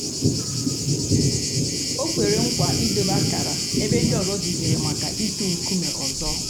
ọ̀ kwèrè nkwa ídòbè àkárà èbè ńdí òzò jìkèrè mǎká ị̀tụ̀ ńkùmé̀ òzò.